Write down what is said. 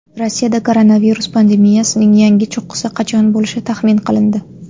Rossiyada koronavirus pandemiyasining yangi cho‘qqisi qachon bo‘lishi taxmin qilindi.